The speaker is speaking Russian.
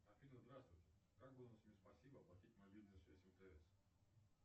афина здравствуйте как бонусами спасибо оплатить мобильную связь мтс